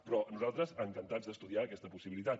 però nosaltres encantats d’estudiar aquesta possibilitat